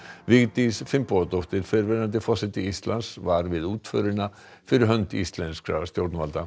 Vigdís Finnbogadóttir fyrrverandi forseti Íslands var við útförina fyrir hönd íslenskra stjórnvalda